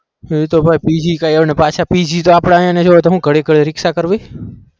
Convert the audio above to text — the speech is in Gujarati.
એતો ભાઈ PG કઈ અને પાછા PG તો આપણા ઘડીક રીક્ષા કરવી